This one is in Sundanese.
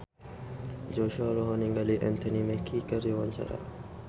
Joshua olohok ningali Anthony Mackie keur diwawancara